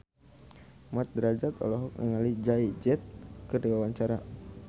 Mat Drajat olohok ningali Jay Z keur diwawancara